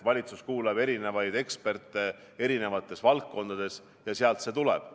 Valitsus kuulab erinevaid eksperte erinevates valdkondades ja sealt see tuleb.